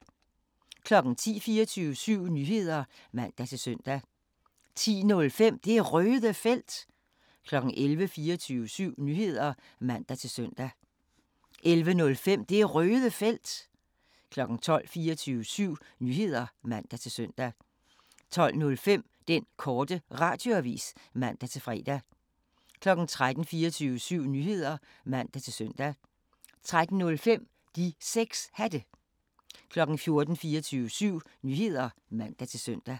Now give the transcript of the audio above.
10:00: 24syv Nyheder (man-søn) 10:05: Det Røde Felt 11:00: 24syv Nyheder (man-søn) 11:05: Det Røde Felt 12:00: 24syv Nyheder (man-søn) 12:05: Den Korte Radioavis (man-fre) 13:00: 24syv Nyheder (man-søn) 13:05: De 6 Hatte 14:00: 24syv Nyheder (man-søn) 14:05: Bearnaise er Dyrenes Konge (G)